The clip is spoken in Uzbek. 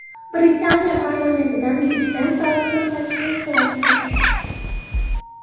Britaniya parlamentidan Big Ben soatini to‘xtatishni so‘rashdi.